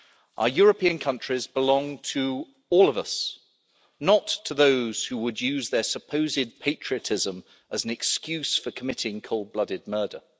Our European countries belong to all of us, not to those who would use their supposed patriotism as an excuse for committing cold-blooded murder.